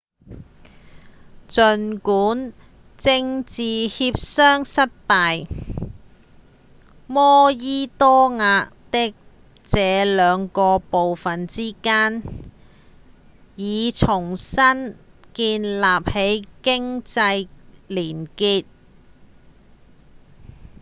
儘管政治協商失敗摩爾多瓦的這兩個部份之間已重新建立起經濟連結